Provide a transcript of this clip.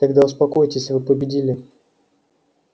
тогда успокоитесь вы победили